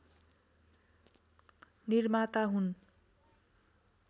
निर्माता हुन्